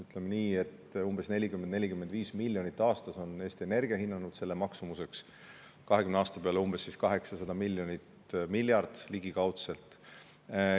Ütleme nii, et umbes 40–45 miljonit aastas on Eesti Energia hinnanud selle maksumuseks, 20 aasta peale teeb see umbes 800 miljonit, seega ligikaudu miljard.